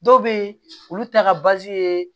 Dɔw bɛ yen olu ta ka ye